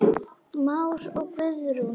Már og Guðrún.